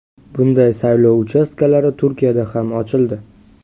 Bunday saylov uchastkalari Turkiyada ham ochildi.